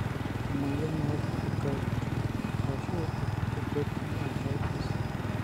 Emoyian e Acute gout, arashu acute gouty arthritis.